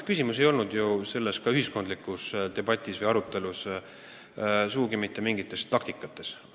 Minu arvates pole selle ühiskondliku debati või arutelu põhjuseks sugugi mingid taktikad.